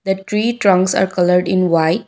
the tree trunks are coloured in white.